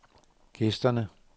gæsterne